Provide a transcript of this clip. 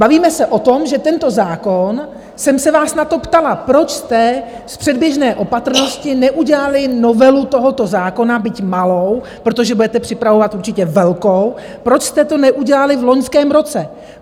Bavíme se o tom, že tento zákon - jsem se vás na to ptala, proč jste z předběžné opatrnosti neudělali novelu tohoto zákona, byť malou, protože budete připravovat určitě velkou, proč jste to neudělali v loňském roce.